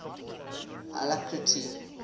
alacrity